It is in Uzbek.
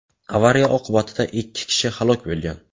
Avariya oqibatida ikki kishi halok bo‘lgan.